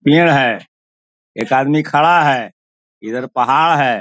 पेड़ है एक आदमी खड़ा है इधर पहाड़ है।